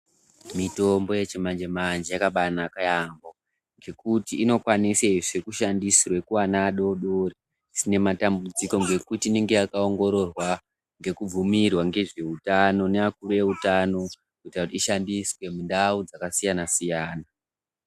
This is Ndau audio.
Mitombo yechimanje-manje yakabanaka yaamho, ngekuti inokwanisezve kushandisirwa kuvana adodori zvisina matambudziko. Ngekuti inonga yakaongororwa ngekubvumirwa ngezvehutano neakuru eutano kuti aishandiswe mundau dzakasiyana-siyana.